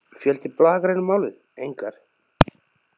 Fjöldi blaðagreina um málið: engar.